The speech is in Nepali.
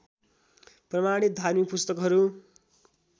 प्रमाणित धार्मिक पुस्तकहरू